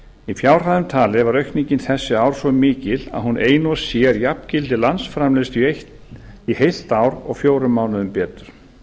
í fjárhæðum talið var aukningin þessi ár svo mikil að hún ein og sér jafngildir landsframleiðslu í heilt eitt ár og fjórum mánuðum betur